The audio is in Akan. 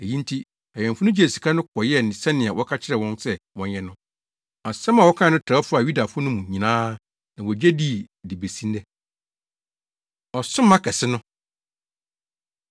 Eyi nti awɛmfo no gyee sika no kɔyɛɛ sɛnea wɔka kyerɛɛ wɔn sɛ wɔnyɛ no. Asɛm a wɔkae no trɛw faa Yudafo no mu nyinaa na wogye dii de besi nnɛ. Ɔsoma Kɛse No